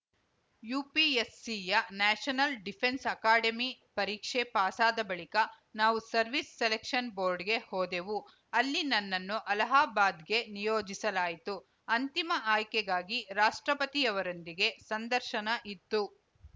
ಯುಪಿಎಸ್‌ಸಿಯ national defence academy ಪರೀಕ್ಷೆ ಪಾಸಾದ ಬಳಿಕ ನಾವು ಸರ್ವಿಸ್‌ ಸೆಲೆಕ್ಷನ್‌ ಬೋರ್ಡ್‌ಗೆ ಹೋದೆವು ಅಲ್ಲಿ ನನ್ನನ್ನು ಅಲಹಾಬಾದ್‌ಗೆ ನಿಯೋಜಿಸಲಾಯಿತು ಅಂತಿಮ ಆಯ್ಕೆಗಾಗಿ ರಾಷ್ಟ್ರಪತಿಯವರೊಂದಿಗೆ ಸಂದರ್ಶನ ಇತ್ತು